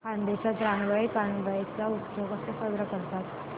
खानदेशात रानबाई कानबाई चा उत्सव कसा साजरा करतात